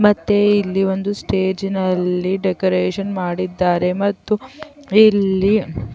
ಮತ್ತೆ ಇಲ್ಲಿ ಒಂದು ಸ್ಟೇಜಿನಲ್ಲಿ ಡೆಕೋರೇಷನ್ ಮಾಡಿದ್ದಾರೆ ಮತ್ತು ಇಲ್ಲಿ --